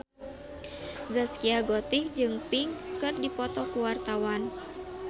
Zaskia Gotik jeung Pink keur dipoto ku wartawan